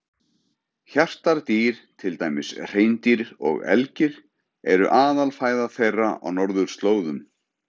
Hjartardýr, til dæmis hreindýr og elgir, eru aðalfæða þeirra á norðurslóðum.